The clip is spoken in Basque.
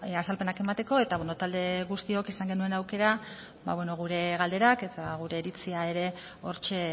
azalpenak emateko eta talde guztiok izan genuen aukera gure galderak eta gure iritzia ere hortxe